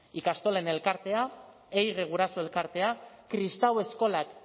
ikastolen elkartea da ehige guraso elkartea kristau eskolak